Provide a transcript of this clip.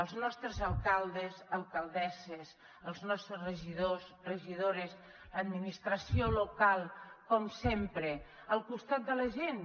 els nostres alcaldes alcaldesses els nostres regidors regidores l’administració local com sempre al costat de la gent